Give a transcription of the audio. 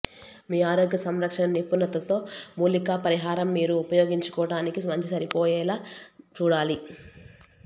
మీ ఆరోగ్య సంరక్షణ నిపుణతతో మూలికా పరిహారం మీరు ఉపయోగించుకోవటానికి మంచి సరిపోయేలా చూడాలి